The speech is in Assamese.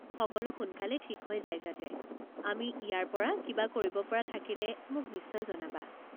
সকলো সোনকালে ঠিক হৈ যায় যাতে, আমি ইয়াৰ পৰা কিবা কৰিব পৰা থাকিলে মোক নিশ্চয় জনাবা।